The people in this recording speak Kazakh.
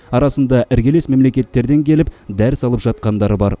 арасында іргелес мемлекеттерден келіп дәріс алып жатқандары бар